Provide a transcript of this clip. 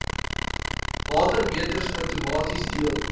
watermeters outomaties deel